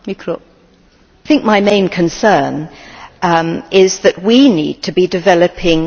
I think my main concern is that we need to be developing skills.